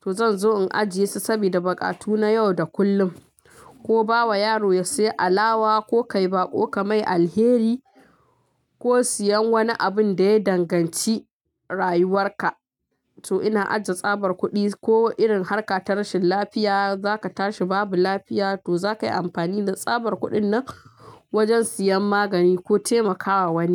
To zan zo in ajiye su sabida buƙatu na yau da kullum ko ba wa yaro ya saya alawa ko ka yi baƙo ka mai alheri ko siyan wani abin da ya danganci rayuwarka. To ina ajiye tsabar kuɗi ko irin harka ta rashin lafiya za ka tashi babu lafiya to za ka yi amfani da tsabar kuɗin nan wajen siyan magani ko taimakawa wani.